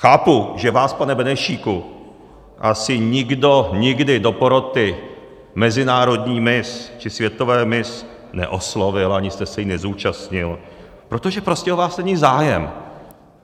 Chápu, že vás, pane Benešíku, asi nikdo nikdy do poroty mezinárodní miss či světové miss neoslovil ani jste se jí nezúčastnil, protože prostě o vás není zájem.